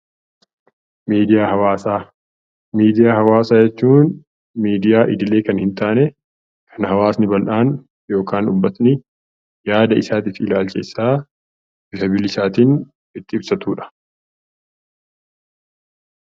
Miidiyaa hawaasaa jechuun miidiyaa idilee kan hin taane kan hawaasni bal'aan yookaan uummanni yaada isaa fi ilaalcha isaa bifa bilisaatiin itti ibsatudha.